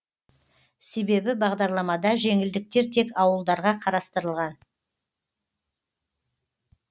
себебі бағдарламада жеңілдіктер тек ауылдарға қарастырылған